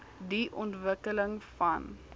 die ontwikkeling van